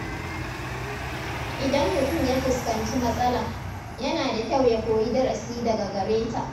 Idan mutum ya fuskanci matsala, yana da kyau ya koyi darasi daga gare ta.